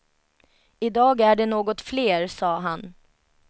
I dag är det något fler, sa han.